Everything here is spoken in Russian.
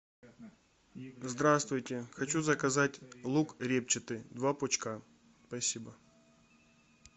здравствуйте хочу заказать лук репчатый два пучка спасибо